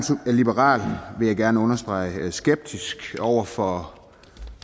liberal vil jeg gerne understrege skeptisk over for